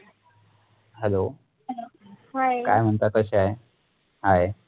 HELLO hello hi क्या म्णतात कशी आहे hi